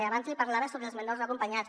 abans li parlava sobre els menors no acompanyats